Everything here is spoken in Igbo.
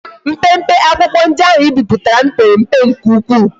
Mpempe akwukwo ndi ahu i biputara m pere mpe nke ukwu